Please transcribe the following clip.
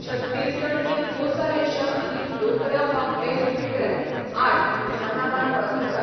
छत्तीसगड ही कोसा रेशम आनी डोकरा वा बेल मेटल आर्ट ह्या नांवान वळखतात.